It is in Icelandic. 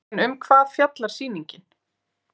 En um hvað fjallar sýningin?